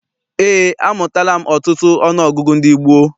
Eé, amụtala m ọtụtụ ọnụọgụgụ ndị gboo.